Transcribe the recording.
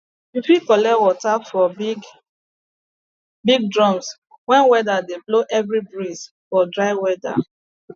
you fit collect rain water for big big drums wen weda dey blow heavy breeze for dry weda